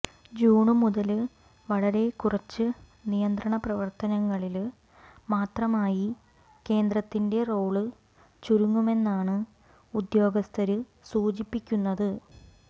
June മുതല് വളരെ കുറച്ച് നിയന്ത്രണ പ്രവര്ത്തനങ്ങളില് മാത്രമായി കേന്ദ്രത്തിന്റെ റോള് ചുരുങ്ങുമെന്നാണ് ഉദ്യോഗസ്ഥര് സൂചിപ്പിക്കുന്നത്